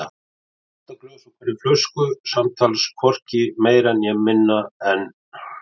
Átta glös úr hverri flösku, samtals hvorki meira né minna en